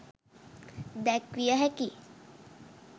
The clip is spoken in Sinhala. දැක්විය හැකි